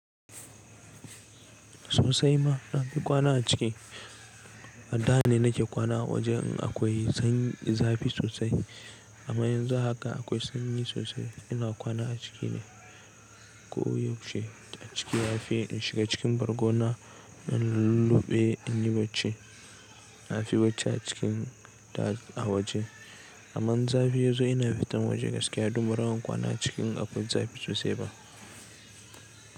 Sosai ma na fi kwana a ciki. A da ne na ke kwana a waje in akwai sanyi, zafi sosai. Amma yanzu haka akwai sanyi sosai ina kwana a ciki ne. Ko yaushe a ciki. Ya fi in shiga cikin bargona na lulluɓe in yi barci. Na fi barci a cikin da a waje. Amma in zafi ya zo ina fitan waje gaskiya don baran kwana a cik in akwai zafi sosai ba.